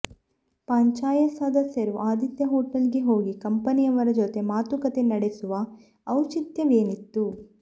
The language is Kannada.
ಪಂಚಾಯತ್ ಸದಸ್ಯರು ಆದಿತ್ಯ ಹೋಟೆಲ್ಗೆ ಹೋಗಿ ಕಂಪನಿಯವರ ಜೊತೆ ಮಾತುಕತೆ ನಡೆಸುವ ಔಚಿತ್ಯವೇನಿತ್ತು